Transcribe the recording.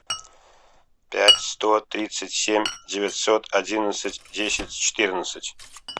пять сто тридцать семь девятьсот одиннадцать десять четырнадцать